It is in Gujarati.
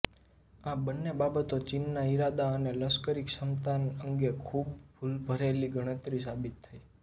આ બંને બાબતો ચીનના ઇરાદા અને લશ્કરી સક્ષમતા અંગે ખૂબ ભૂલભરેલી ગણતરી સાબિત થઈ